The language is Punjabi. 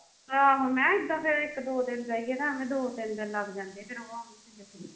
ਆਹੋ ਮਖਾਂ ਏਦਾਂ ਫਿਰ ਇੱਕ ਦੋ ਦਿਨ ਜੇਈਏ ਤਾਂ ਐਵੇਂ ਦੋ ਤਿੰਨ ਦਿਨ ਲੱਗ ਜਾਂਦੇ ਆ ਫਿਰ ਉਹ ਆ ਕੇ .